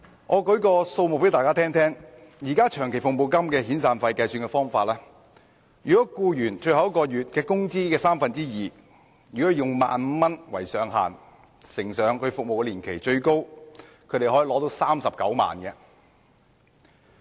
我為大家舉出一些數字，現時長期服務金及遣散費的計算方法，是以僱員最後一個月工資的三分之二，再乘以服務年期，最高款額可達39萬元。